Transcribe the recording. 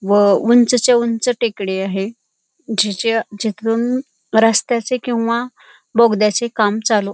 व उंचच्या उंच टेकडी आहे जिच्या जिथून रस्त्याचे किंवा बोगद्याचे काम चालू --